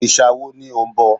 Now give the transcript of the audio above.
Òrìṣà wo ni ò ń bọ?